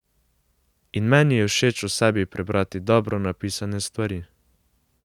In meni je všeč o sebi prebrati dobro napisane stvari.